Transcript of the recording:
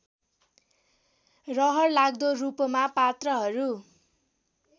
रहरलाग्दो रूपमा पात्रहरू